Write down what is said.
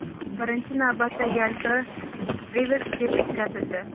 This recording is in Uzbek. Birinchi navbatda, yalpi revers-test o‘tkazildi.